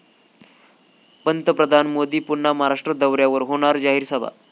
पंतप्रधान मोदी पुन्हा महाराष्ट्र दौऱ्यावर, होणार जाहीर सभा